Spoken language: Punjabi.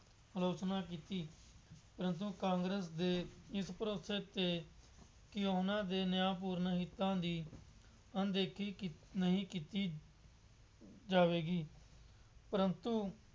ਆਲੋਚਨਾ ਕੀਤੀ। ਪਰੰਤੂ ਕਾਂਗਰਸ ਦੇ ਇਸ ਭਰੋਸੇ ਤੇ ਕਿ ਉਹਨਾ ਦੇ ਨਿਆਂਪੂਰਨ ਹਿੱਤਾਂ ਦੀ ਅਣਦੇਖੀ ਕੀਤ ਨਹੀਂ ਕੀਤੀ, ਜਾਵੇਗੀ। ਪਰੰਤੂ